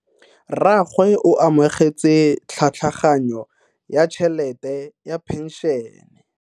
Rragwe o amogetse tlhatlhaganyo ya tšhelete ya phenšene.